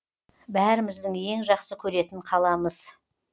бәріміздің ең жақсы көретін қаламыз